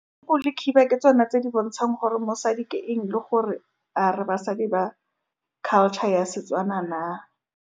le khiba ke tsone tse di bontshang gore mosadi ke eng le gore a re basadi ba culture ya Setswana na.